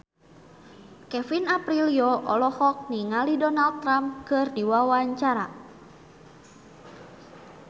Kevin Aprilio olohok ningali Donald Trump keur diwawancara